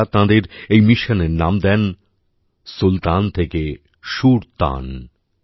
তাঁরা তাঁদের এই মিশনের নাম দেন সুলতান থেকে সুরতান